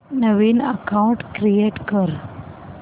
नवीन account create कर